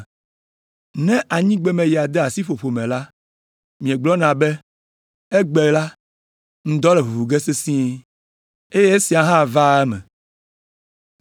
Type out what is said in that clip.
Ne anyigbemeya de asi ƒoƒo me la, miegblɔna be, ‘Egbe la, ŋdɔ le ʋuʋu ge sesĩe.’ Eye esia hã vaa eme.